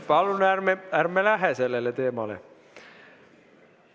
Palun ärme läheme sellele teemale!